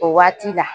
O waati la